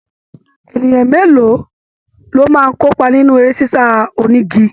Ènìyàn mélòó lo máa n kópa nínú eré sisa onígí?